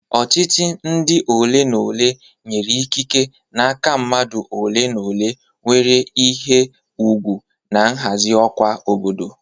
Ọchịchị ndi ole na ole nyere ikike n'aka mmadụ ole na ole nwere ihe ùgwù na nhazi ọkwa obodo.